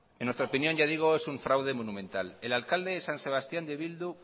en nuestra opinión ya digo es un fraude monumental el alcalde de san sebastían de bildu